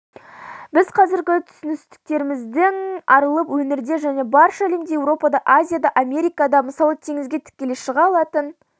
біз қазіргі түсініктерімізден арылып өңірде және барша әлемде еуропада азияда америкада мысалы теңізге тікелей шыға алатын